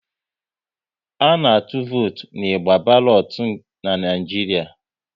A na-atụ votu n'igba balotu n'Naijiria